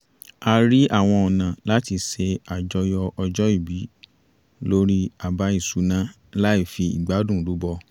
a rí àwọn ọ̀nà láti ṣe àjọyọ̀ ọjọ́ ìbí lórí àbá ìṣúná láì fi ìgbádún rúbọ